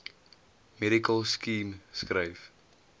medical scheme skryf